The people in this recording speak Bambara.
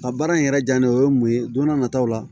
A baara in yɛrɛ diya ne ye o ye mun ye don n'a nataw la